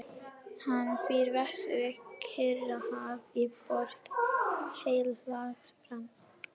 Hann býr vestur við Kyrrahaf í Borg Heilags Frans.